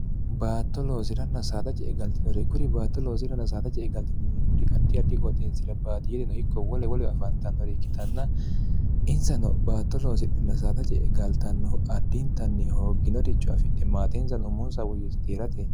baatto loosiranna saadace e galtinore kuri baatto loosirann saadace e galtinimimmuri addi addi qooxeensira baadi yedino ikko wole woleo afaantannori ikkitanna insano baatto loosiphin saadace egaltannohu addiintanni hoogginorichu afidhe maateensano ummunsa woyyiti tierate